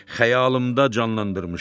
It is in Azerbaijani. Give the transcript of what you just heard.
Xəyalımda canlandırmışam.